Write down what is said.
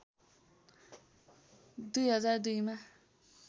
२००२ मा